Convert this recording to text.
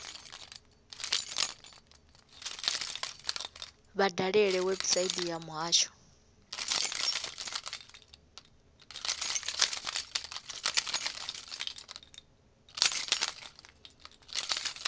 vha dalele website ya muhasho